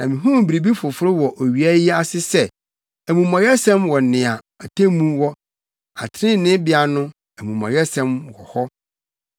Na mihuu biribi foforo wɔ owia yi ase sɛ: Amumɔyɛsɛm wɔ nea atemmu wɔ, atɛntreneebea no, amumɔyɛsɛm wɔ hɔ.